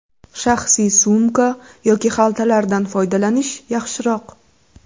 Shaxsiy sumka yoki xaltalardan foydalanish yaxshiroq.